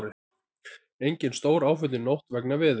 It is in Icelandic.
Engin stóráföll í nótt vegna veðurs